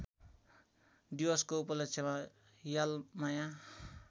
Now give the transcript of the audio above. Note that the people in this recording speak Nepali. दिवसको उपलक्ष्यमा यलमाया